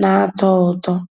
ná-àtọ́ ụtọ́.